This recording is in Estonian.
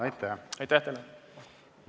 Aitäh!